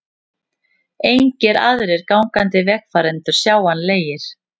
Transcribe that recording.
Engir aðrir gangandi vegfarendur sjáanlegir.